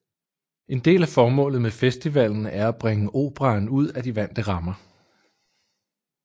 En del af formålet med festivalen er at bringe operaen ud af de vante rammer